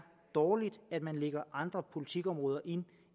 dårligt at man lægger andre politikområder ind